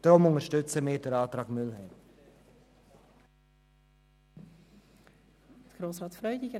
Deshalb unterstützen wir den Antrag Mühlheim.